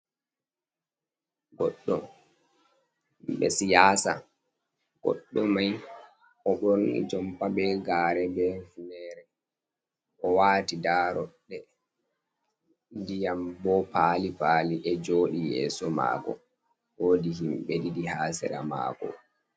Goɗɗo bi'e siyaasa. Goɗɗo may o ɓorni jompa bee gaare bee funeere, o waati daaroɗɗe. Ndiyam bo paali paali e jooɗi yeeso maako, woodi himɓe ɗiɗi haa sera maako.